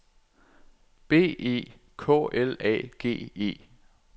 B E K L A G E